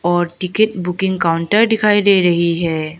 और ticket booking counter दिखाई दे रही है।